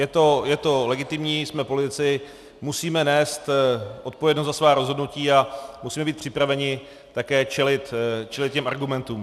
Je to legitimní, jsme politici, musíme nést odpovědnost za svá rozhodnutí a musíme být připraveni také čelit těm argumentům.